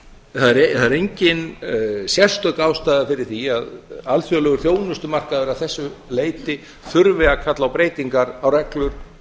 það er engin sérstök ástæða fyrir því að alþjóðlegur þjónustumarkaður að þessu leyti þurfi að kalla á breytingar á reglum